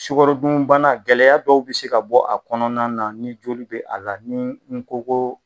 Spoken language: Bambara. Sukɔro dunbana gɛlɛya dɔw bi se ka bɔ, a kɔnɔna na, ni joli bɛ a la ni koko